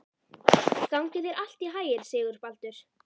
Gangi þér allt í haginn, Sigurbaldur.